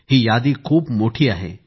ही यादी खूप मोठी आहे